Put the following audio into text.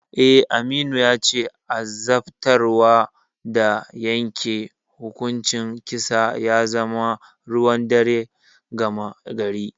Eh, Aminu yace azabtarwa da yanke hukuncin kisa ya zama ruwan dare gama gari.